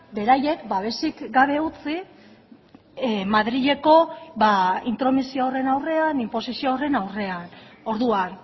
beraiek babesik gabe utzi madrileko intromisio horren aurrean inposizio horren aurrean orduan